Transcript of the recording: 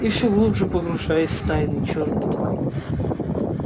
и все глубже погружаясь в тайны чёрной магии